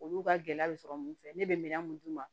Olu ka gɛlɛya bɛ sɔrɔ mun fɛ ne bɛ minan mun d'u ma